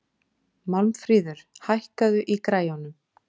Málmfríður, hækkaðu í græjunum.